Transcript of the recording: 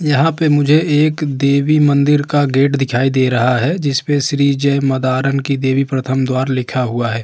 यहाँ पे मुझे एक देवी मंदिर का गेट दिखाई दे रहा है जिसपे श्री जय मदारन की देवी प्रथम द्वार लिखा हुआ है।